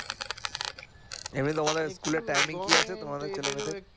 এমনি তোমাদের স্কুলের কি আছে তোমাদের ছেলে মেয়েদের